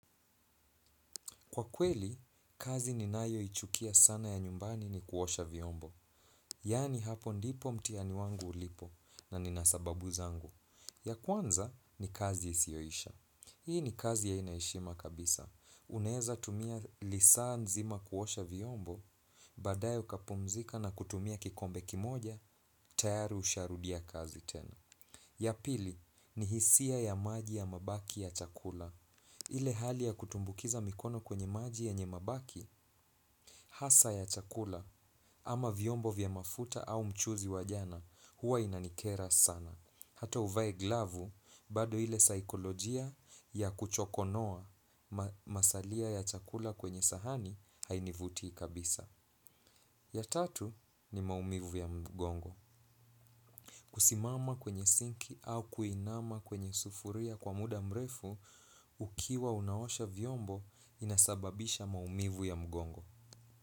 Kwa kweli, kazi ninayo ichukia sana ya nyumbani ni kuosha viombo. Yani hapo ndipo mtihani wangu ulipo na nina sababu zangu. Ya kwanza ni kazi isiyoisha. Hii ni kazi ya haina heshima kabisa. Unaeza tumia lisaa nzima kuosha viombo, baadaye kapumzika na kutumia kikombe kimoja, tayari usharudia kazi tena. Ya pili, ni hisia ya maji ya mabaki ya chakula. Ile hali ya kutumbukiza mikono kwenye maji yenye mabaki, hasa ya chakula, ama viombo vya mafuta au mchuzi wa jana, huwa inanikera sana. Hata uvae glavu, bado ile saikolojia ya kuchokonoa masalia ya chakula kwenye sahani hainivutii kabisa. Ya tatu ni maumivu ya mgongo. Kusimama kwenye sinki au kuinama kwenye sufuria kwa muda mrefu ukiwa unaosha viombo inasababisha maumivu ya mgongo.